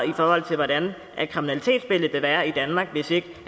i forhold til hvordan kriminalitetsbilledet vil være i danmark hvis ikke